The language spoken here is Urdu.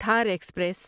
تھار ایکسپریس